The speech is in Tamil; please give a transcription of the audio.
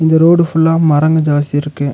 இந்த ரோடு ஃபுல்லா மரங்க ஜாஸ்தி இருக்கு.